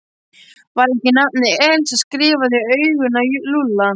Var ekki nafnið Elísa skrifað í augun á Lúlla?